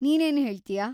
ನೀನ್‌ ಏನ್‌ ಹೇಳ್ತಿಯಾ?